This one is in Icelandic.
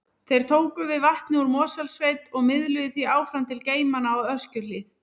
Þeir tóku við vatni úr Mosfellssveit og miðluðu því áfram til geymanna á Öskjuhlíð.